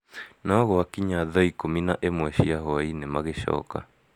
no gwakinya thaa ikumi na imwe cia hwa-inĩ magĩcoka